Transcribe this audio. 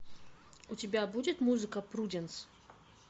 у тебя будет музыка пруденс